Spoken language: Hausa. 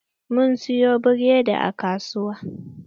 Mun siyo buredi a kasuwa.